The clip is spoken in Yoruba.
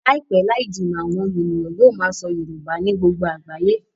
Láìpẹ́ láì jìnnà, àwọn ènìyàn yóò máa sọ Yorùbá ní gbogbo àgbáyé